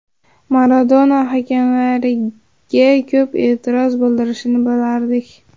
Maradona hakamlarga ko‘p e’tiroz bildirishini bilardik.